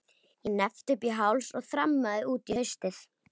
Ég hneppti upp í háls og þrammaði út í haustið.